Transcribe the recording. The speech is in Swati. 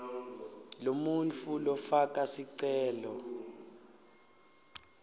lomuntfu lofaka sicelo